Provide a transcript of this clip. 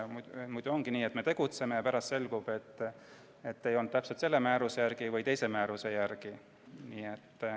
Muidu on nii, et me tegutseme ja pärast selgub, et ei toimitud täpselt selle või teise määruse järgi.